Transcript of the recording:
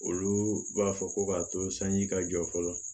Olu b'a fɔ ko k'a to sanji ka jɔ fɔlɔ